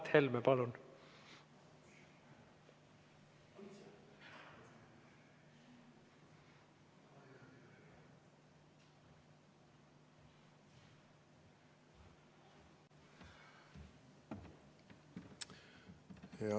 Mart Helme, palun!